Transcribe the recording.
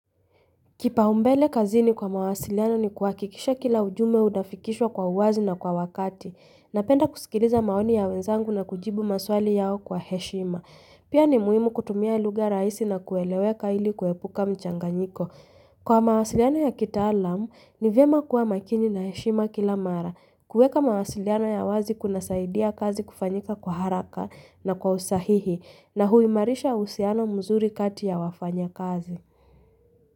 Kipaumbele kazini kwa mawasiliano ni kuhakikisha kila ujumbe unafikishwa kwa uwazi na kwa wakatii. Napenda kusikiliza maoni ya wenzangu na kujibu maswali yao kwa heshima. Pia ni muhimu kutumia lugha rahisi na kueleweka ili kuepuka mchanganyiko. Kwa mawasiliano ya kitaalamu, ni vyema kuwa makini na heshima kila mara. Kuweka mawasiliano ya wazi kunasaidia kazi kufanyika kwa haraka na kwa usahihi, na huimarisha uhusiano mzuri kati ya wafanyakazi.